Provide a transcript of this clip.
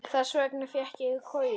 Þess vegna fékk ég koju.